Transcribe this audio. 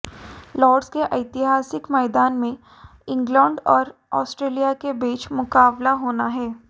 Lord's के ऐतिहासिक मैदान में इंग्लैंड और ऑस्ट्रेलिया के बीच मुकाबला होना है